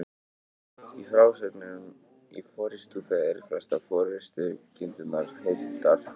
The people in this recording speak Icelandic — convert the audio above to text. Í frásögnum í Forystufé eru flestar forystukindurnar hyrndar.